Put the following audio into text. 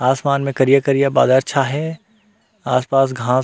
आसमान में करिया-करिया बादर छाये हे आस-पास घास--